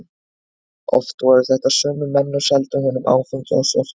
Oft voru þetta sömu menn og seldu honum áfengi á svörtu.